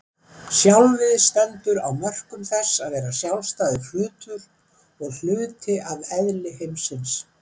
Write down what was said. Sjálfið stendur á mörkum þess að vera sjálfstæður hlutur og hluti af eðli heimsins.